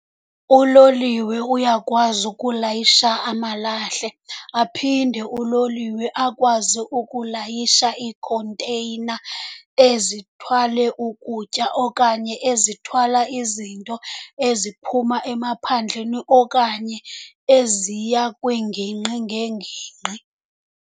Uloliwe uyakwazi ukulayisha amalahle, aphinde uloliwe akwazi ukulayisha iikhonteyina ezithwale ukutya okanye ezithwala izinto eziphuma emaphandleni okanye eziya kwiingingqi ngeengingqi.